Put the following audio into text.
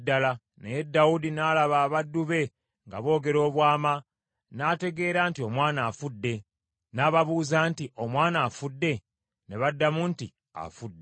Naye Dawudi n’alaba abaddu be nga boogera obwama, n’ategeera nti omwana afudde. N’ababuuza nti, “Omwana afudde?” Ne baddamu nti, “Afudde.”